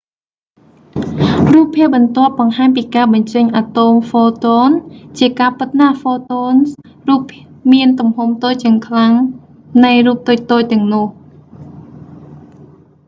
រូបភាពបន្ទាប់បង្ហាញពីការបញ្ចេញអាតូមphotons។ ជាការពិតណាស់photonsរូបមានទំហំតូចជាងខ្លាំងនៃរូបតូចៗទាំងនោះ។